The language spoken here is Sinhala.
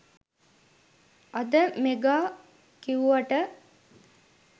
අද මෙගා කිව්වට